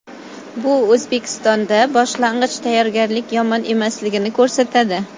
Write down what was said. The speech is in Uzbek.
Bu O‘zbekistonda boshlang‘ich tayyorgarlik yomon emasligini ko‘rsatadi.